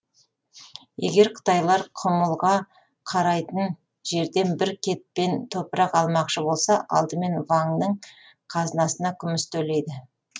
егер қытайлар құмылға қарайтын жерден бір кетпен топырақ алмақшы болса алдымен ваңның қазынасына күміс төлейді